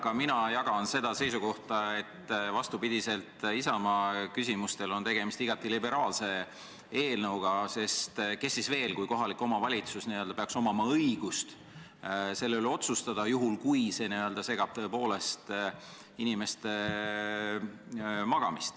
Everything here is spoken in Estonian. Ka mina jagan seda seisukohta, et vastupidi Isamaa küsimustes väljendatule on tegemist igati liberaalse eelnõuga, sest kellel siis veel kui kohalikul omavalitsusel peaks olema õigus selle üle otsustada, kui inimeste uni on tõepoolest häiritud.